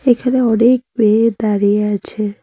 এখানে অনেক মেয়ে দাঁড়িয়ে আছে।